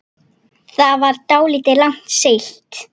Það var dálítið langt seilst.